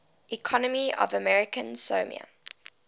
economy of american samoa